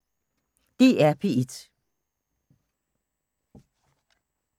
DR P1